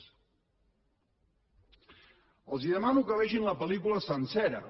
els demano que vegin la pel·lícula sencera